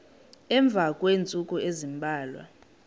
emva kweentsukwana ezimbalwa